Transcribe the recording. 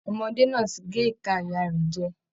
Ọmọdé náà ti gé ìka ìyá rẹ̀ jẹ